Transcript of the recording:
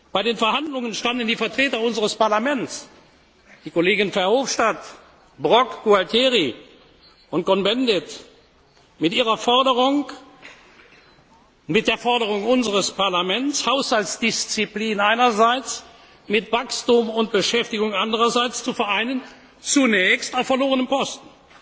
Bei den Verhandlungen standen die Vertreter unseres Parlaments, die Kollegen Verhofstadt, Brok, Gualtieri und Cohn Bendit, mit der Forderung unseres Parlaments, Haushaltsdisziplin einerseits mit Wachstum und Beschäftigung andererseits zu vereinen, zunächst auf verlorenem Posten.